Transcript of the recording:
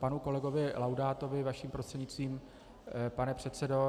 Panu kolegovi Laudátovi vaším prostřednictvím, pane předsedo.